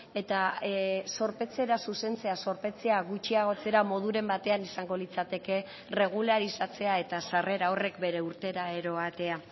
eta zorpetzera zuzentzea zorpetzea gutxiagotzera moduren batean izango litzateke erregularizatzea eta sarrera horrek bere urtera eroatea